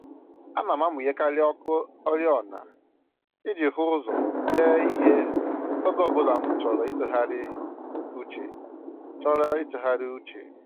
Ana m amụnyekarị ọkụ oriọna iji hụ ụzọ dee ihe oge ọbụla m chọrọ ịtụgharị uche chọrọ ịtụgharị uche